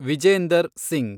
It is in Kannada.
ವಿಜೇಂದರ್ ಸಿಂಗ್